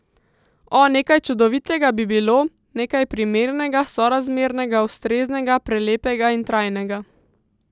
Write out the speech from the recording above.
O, nekaj čudovitega bi bilo, nekaj primernega, sorazmernega, ustreznega, prelepega in trajnega.